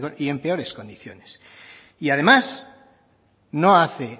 y en peores condiciones y además no hace